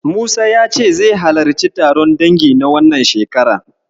Musa ya ce zai halarci taron dangin na wannan shekarar.